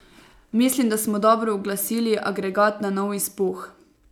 Mislim, da smo dobro uglasili agregat na nov izpuh.